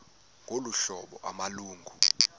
ngolu hlobo amalungu